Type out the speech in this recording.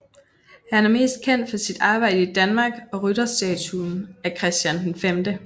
Han er mest kendt for sit arbejde i Danmark og rytterstatuen af Christian V